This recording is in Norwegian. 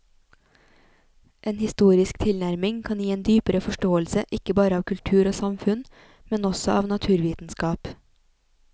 En historisk tilnærming kan gi en dypere forståelse ikke bare av kultur og samfunn, men også av naturvitenskap.